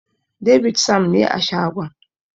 David Sam ne a shagon.